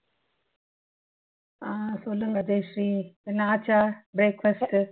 அஹ் சொல்லுங்க ஜெயஸ்ரீ என்ன ஆச்சா breakfast உ